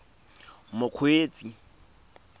mokgweetsi